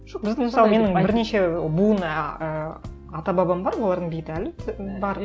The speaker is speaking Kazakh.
буын ыыы ата бабам бар олардың бейіті әлі бар